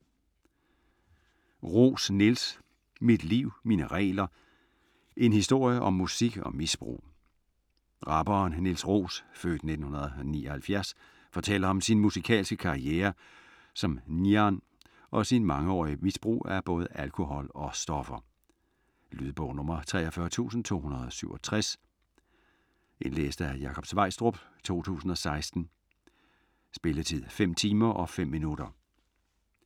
Roos, Niels: Mit liv, mine regler: en historie om musik og misbrug Rapperen Niels Roos (f. 1979) fortæller om sin musikalske karriere som Niarn og sit mangeårige misbrug af både alkohol og stoffer. Lydbog 43267 Indlæst af Jakob Sveistrup, 2016. Spilletid: 5 timer, 5 minutter.